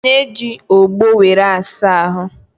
Ị na-eji ọgbọ were asa ahụ?